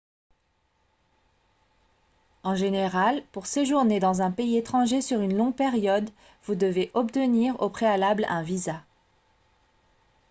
en général pour séjourner dans un pays étranger sur une longue période vous devez obtenir au préalable un visa